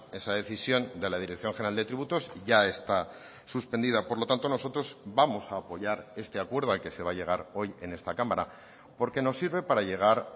esa decisión de la dirección general de tributos ya está suspendida por lo tanto nosotros vamos a apoyar este acuerdo al que se va a llegar hoy en esta cámara porque nos sirve para llegar